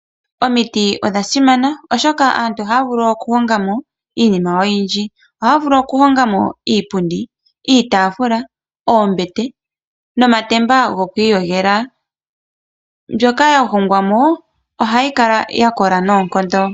Omiti odha simana oshoka aantu oha ya vulu oku honga mo iinima oyindji. Oha ya vulu oku honga mo iipundi, iitaafula, oombete nomatemba go ku iyogela. Mbyoka ya hongwa mo ohayi kala ya kola noonkondo.